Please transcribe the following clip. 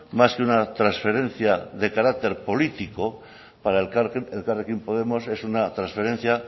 más que una transferencia de carácter político para elkarrekin podemos es una transferencia